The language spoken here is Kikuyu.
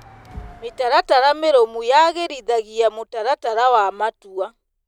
Mĩtaratara mĩrũmu yagĩrithagia mũtaratara wa matua.